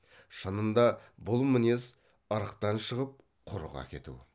шынында бұл мінез ырықтан шығып құрық әкету